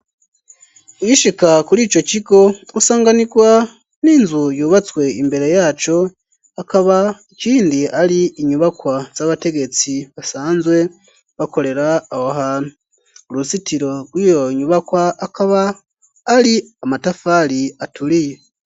Ugishika kuri ico kigo ,usanganirwa n'inzu yubatswe imbere yaco, akaba ikindi ari inyubakwa z'abategetsi basanzwe bakorera aho hantu ,uruzitiro rw'iyo nyubakwa akaba ari amatafari aturiye.